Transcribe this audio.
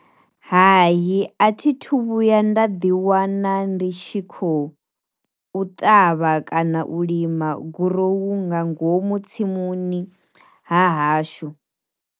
Hayi a thi thu vhuya nda ḓi wana ndi tshi kho u ṱavha kana u lima gurowu nga ngomu tsimuni ha hashu.